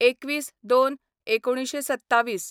२१/०२/१९२७